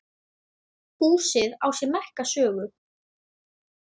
Húsið á sér merka sögu.